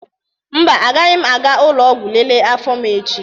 Mba, agaghị m aga ụlọ ọgwụ lelee afọ m echi.